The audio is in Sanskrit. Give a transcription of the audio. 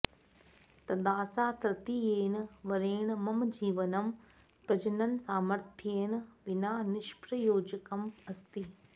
तदा सा तृतीयेन वरेण मम जीवनं प्रजननसामर्थ्येन विना निष्प्रयोजकम् अस्ति